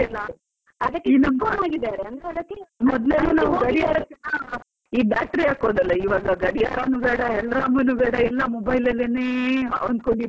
ಅದಕ್ಕೆ. ಗಡಿಯಾರಕ್ಕೆ ಈ battery ಹಾಕೋದೆಲ್ಲ, ಇವಾಗ ಗಡಿಯಾರನು ಬೇಡ ಅಲ್ರಾಮುನು ಬೇಡ ಎಲ್ಲಾ mobile ಅಲ್ಲೇನೇ ಅನ್ಕೊಂಡು ಇರ್ಬೇಕು.